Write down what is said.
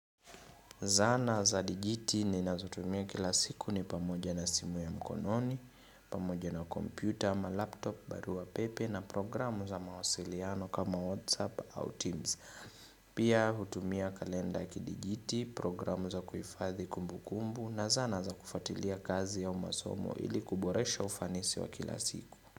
Zana za digiti ninazotumia kila siku ni pamoja na simu ya mkononi, pamoja na kompyuta ama laptop, barua pepe na programu za mawasiliano kama WhatsApp au Teams. Pia hutumia kalenda kidigiti, programu za kuhifadhi kumbu kumbu na zana za kufuatilia kazi au masomo ili kuboresha ufanisi wa kila siku.